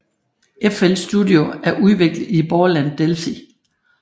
FL Studio er udviklet i Borland Delphi